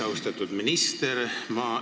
Austatud minister!